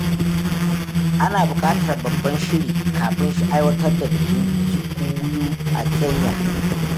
Ana bukatar babban shiri kafin aiwatar da bikin Kikuyu a Kenya.